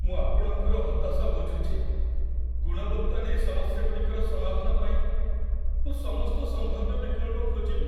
ମୁଁ ଆପଣଙ୍କର ହତାଶା ବୁଝୁଛି, ଗୁଣବତ୍ତା ନେଇ ସମସ୍ୟାଗୁଡ଼ିକର ସମାଧାନ ପାଇଁ ମୁଁ ସମସ୍ତ ସମ୍ଭାବ୍ୟ ବିକଳ୍ପ ଖୋଜିବି।